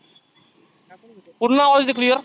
पुर्ण आवाज येतो clear